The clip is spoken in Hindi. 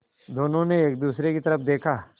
दोनों ने एक दूसरे की तरफ़ देखा